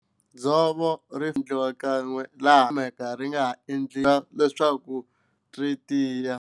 Dzovo ri endliwa kan'we laha ri nga ha kumeka ri nga ha endliwi leswaku ri tiya.